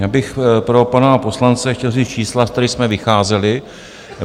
Já bych pro pana poslance chtěl říct čísla, z kterých jsme vycházeli.